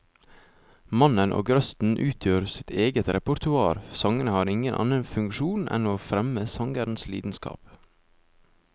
Mannen og røsten utgjør sitt eget repertoar, sangene har ingen annen funksjon enn å fremme sangerens lidenskap.